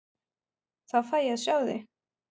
Þá fæ ég að sjá þig.